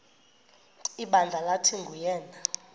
ibandla lathi nguyena